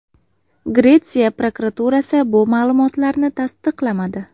Gretsiya prokuraturasi bu ma’lumotlarni tasdiqlamadi.